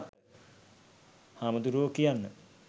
හාමුදුරුවෝ කියන්න